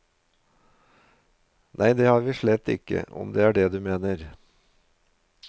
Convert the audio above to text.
Nei det har vi slett ikkje om det er det du meiner.